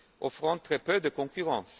offrant très peu de concurrence.